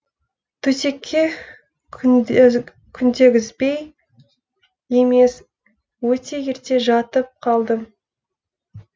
төсекке күндегізбей емес өте ерте жатып қалдым